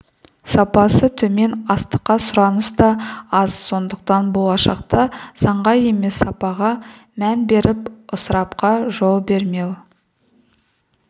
сапасы төмен астыққа сұраныс та аз сондықтан болашақта санға емес сапаға мән беріп ысырапқа жол бермеу